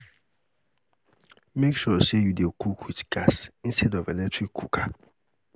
mek sure say yu dey cook wit gas instead of electric cooker